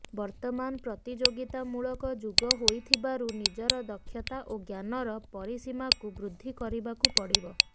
ବର୍ତ୍ତମାନ ପ୍ରତିଯୋଗିତାମୂଳକ ଯୁଗ ହୋଇଥିବାରୁ ନିଜର ଦକ୍ଷତା ଓ ଜ୍ଞାନର ପରିସୀମାକୁ ବୃଦ୍ଧି କରିବାକୁ ପଡ଼ିବ